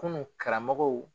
Kunun karamɔgɔw